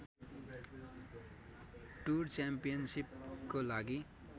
tour च्याम्पियनसिपको लागि